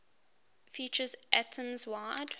features atoms wide